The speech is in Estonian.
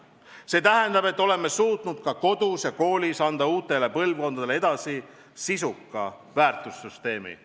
See tähendab, et oleme suutnud kodudes ja koolis anda uutele põlvkondadele edasi sisuka väärtussüsteemi.